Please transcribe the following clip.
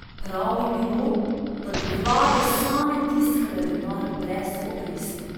Prav bi bilo, da bi vlade same tiskale denar brez obresti.